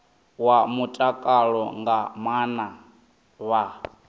wa mutakalo nga maana vha